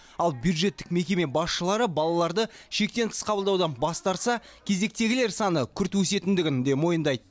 ал бюджеттік мекеме басшылары балаларды шектен тыс қабылдаудан бас тартса кезектегілер саны күрт өсетіндігін де мойындайды